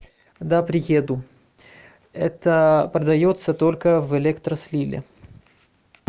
когда приеду это продаётся только в электрослиле